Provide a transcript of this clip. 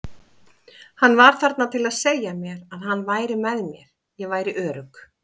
Hann var þarna til að segja mér að hann væri með mér, ég væri örugg.